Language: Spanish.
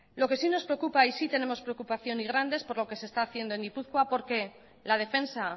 lo que sí nos preocupa y sí tenemos preocupación y grande es por lo que se está haciendo en gipuzkoa porque la defensa